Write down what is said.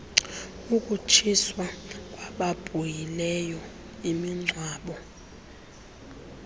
yokutshiswa kwababhuhileyo imingcwabo